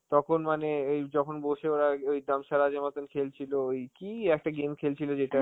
তখন মানে~ এই যখন বসে ওরা ওই dumb charades এর মতন খেলছিল, ওই কি একটা game খেলছিল যেটা